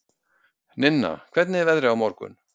Ninna, hvernig er veðrið á morgun?